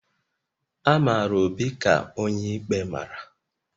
A mara Obi ka onye ikpe mara